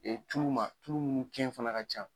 Ee tuu ma tulu munnu kɛn fana ka ca.